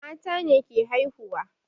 Mata ne ke haihuwa